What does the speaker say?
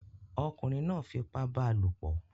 ọkunrin náà fi ipá bá a lòpọ̀